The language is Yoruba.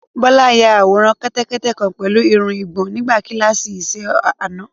Bọ́lá ya àwòrán kẹ́tẹ́kẹ́tẹ́ kan pẹ̀lú ìrù igbó nígbà kíláàsì iṣẹ́-ọnà.